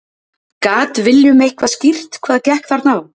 Gat Willum eitthvað skýrt hvað gekk þarna á?